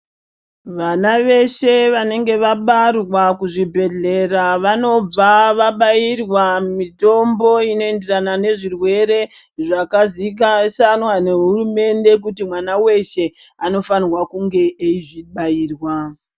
Vana veshe vanenge vabara kuzvibhehleya vanobva vabairwa mitombo inoenderana nezvirwere zvakaziwiswa ngehurumende kuti mwana weshe anofanirwa kunge eizvibairwa.